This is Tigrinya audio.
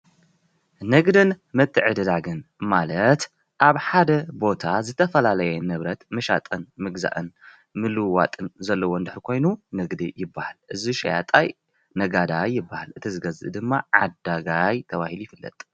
ንግድን ምትዕድዳግን ማለት ኣብ ሓደ ቦታ ዝተፈላለየ ንብረት ምሻጥን ምግዛእን ምልውዋጥን ዘለዎ እንድሕር ኮይኑ ንግዲ ይበሃል። እዚ ሸያጣይ ነጋዳይ ይበሃል። እቲ ዝገዝእ ድማ ዓዳጋይ ተባሂሉ ይፍለጥ ።